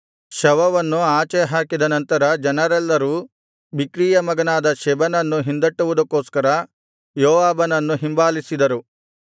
ಶವವನ್ನು ಆಚೆ ಹಾಕಿದ ನಂತರ ಜನರೆಲ್ಲರೂ ಬಿಕ್ರೀಯ ಮಗನಾದ ಶೆಬನನ್ನು ಹಿಂದಟ್ಟುವುದಕ್ಕೊಸ್ಕರ ಯೋವಾಬನನ್ನು ಹಿಂಬಾಲಿಸಿದರು